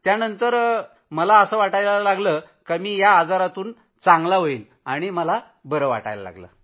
त्यांना काय करायचं आहे हे माहित आहे आणि मी चांगला होईनचअसं वाटू लागलं होतं